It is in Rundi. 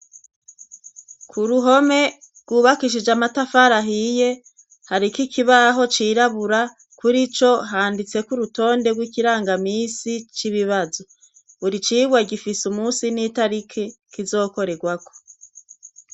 K'uruhome rwubakishije amatafara ahiye, hariko ikibaho cirabura kuri co handitseko urutonde rw'ikirangamisi c'ibibazo, buri cigwa gifise umunsi n'itariki kizokorerwako.